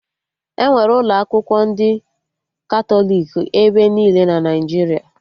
Enwere ụlọ akwụkwọ ndị Katọlik ebe niile na Naijiria